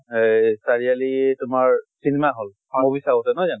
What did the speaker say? এই চাৰিআলিৰ তোমাৰ cinema hall movie চাওঁতে, নহয় জানো?